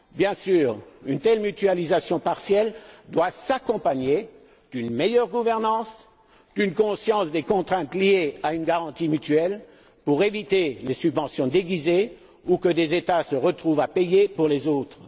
Bien sûr, une telle mutualisation partielle doit s'accompagner d'une meilleure gouvernance, d'une conscience des contraintes liée à une garantie mutuelle pour éviter les subventions déguisées ou que des États se retrouvent à payer pour d'autres.